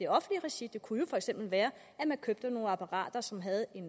offentlige regi det kunne for eksempel være at man købte nogle apparater som havde en